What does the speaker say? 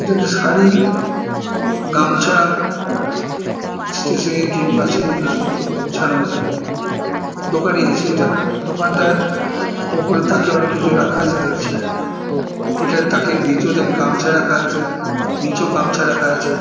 এটা একটা শাড়ি গামছা ষ্টেশনারি কিছু আছে জিনিসপত্র গোছানো আছে দোকানে আছে এটা দোকানটা ওপরের তাকে অনেক কিছু রাখা আছে দেখছি এখানে তাকে দ্বিতীয় তাকে গামছা রাখা আছে নিচেও গামছা রাখা আছে ।